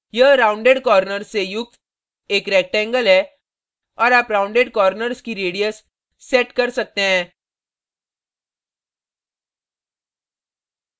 यह rounded corners से युक्त एक rectangle है और आप rounded corners की radius set कर सकते हैं